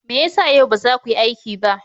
Me ya sa yau ba za ku yi aiki ba?